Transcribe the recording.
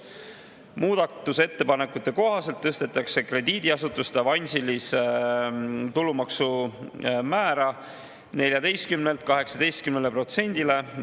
Muudatusettepanekute kohaselt tõstetakse krediidiasutuste tulumaksu avansilise määr 14%-lt 18%-le.